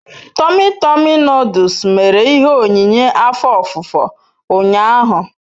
Tomi Tomi noduls mere ihe onyinye afo ofufo unyahu